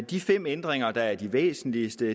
de fem ændringer der er de væsentligste